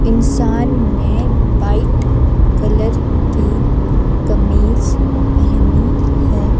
इंसान ने white colour की कमीज पहनी है ।